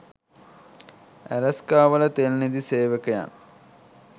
ඇලස්කාවල තෙල් නිධි සේවකයන්